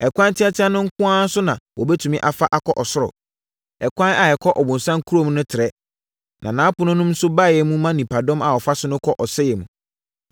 “Ɛkwan teateaa no nko ara so na wobɛtumi afa akɔ ɔsoro! Ɛkwan a ɛkɔ ɔbonsam kurom no trɛ, na nʼapono nso mu baeɛ ma nnipadɔm a wɔfa so kɔ ɔsɛeɛ mu.